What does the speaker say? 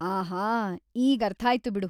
ಆಹಾ, ಈಗರ್ಥಾಯ್ತು ಬಿಡು.